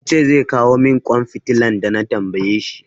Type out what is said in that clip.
Ya ce zai kawo min ƙwan fitilan da na tambaye shi.